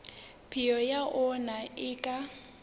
peo ya ona e ka